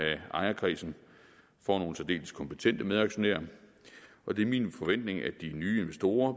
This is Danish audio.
ejerkredsen får nogle særdeles kompetente medaktionærer og det er min forventning at de nye investorer